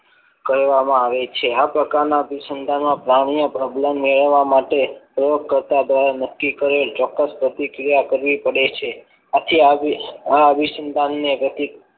કહેવામાં આવે છે આ પ્રકારના અભિસંધાન પ્રાણી પ્રબલન મેળવવા માટે પ્રયોગ કરતા દ્વારા નક્કી કરેલ ચોક્કસ પ્રતિક્રિયા કરવી પડે છે આથી આ અભિસંધાન ને